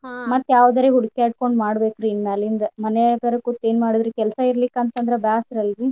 ಮತ್ತ್ ಯಾವದರೆ ಹುಡಿಕ್ಯಾಡ್ಕೊಂಡ್ ಮಾಡ್ಬೇಕ್ರಿ ಇನ್ನಮ್ಯಾಲಿಂದ ಮಾನ್ಯಗಾರ ಕೂತ್ ಏನ್ ಮಾಡುದ್ರಿ ಕೆಲ್ಸಾ ಇರಲಿಕ್ಕಂದ್ರ ಬ್ಯಾಸರಲ್ರಿ.